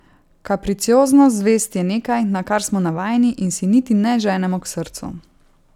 Kapricioznost zvezd je nekaj, na kar smo navajeni in si niti ne ženemo k srcu.